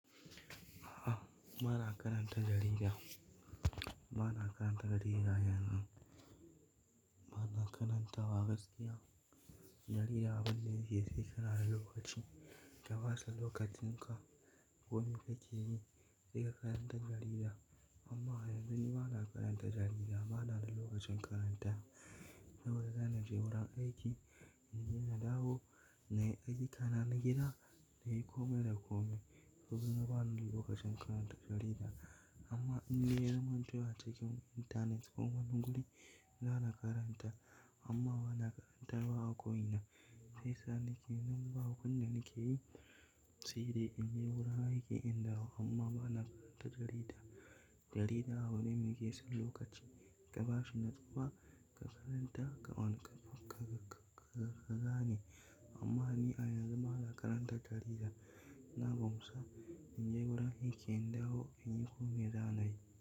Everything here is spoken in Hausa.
Aha, ba na karanta jarida. Ba na karanta jarida, yanzun ba na karanta wa gaskiya. Yarinya abinda yake sai kana da lokaci, ka basa lokacin ka. Wani kake yi? Sai ka karanta jarida amma yanzu ni ba na karanta jarida. Ba na da lokacin karantawa saboda zana je wurin aiki, in je na dawo, na yi a na gida, na yi komai da komai. Ya zamanto ba na da lokacin karanta jarida amma in dai ya zamanto a cikin mutane ko wani guri, zana karanta amma ba na karantawa a ko ina. Sai sa na ke nan ba wanda nake yi, sai dai in je wurin aiki in dawo amma ba na karanta jarida. Jarida abu ne mai ke son lokaci ka bashi natsuwa ka karanta, ka wani ka-ka-ka gane. Amma ni a yanzu ba na karanta jarida. Na bar masa in je wurin aiki, in dawo in yi komai zan yi.